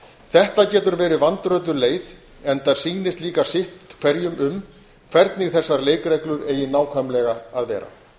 þetta getur verið vandrötuð leið enda sýnist líka sitt hverjum um hvernig þessar leikreglur eigi nákvæmlega að vera